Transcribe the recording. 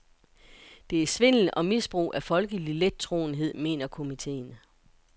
Det er svindel og misbrug af folkelig lettroenhed, mener komiteen.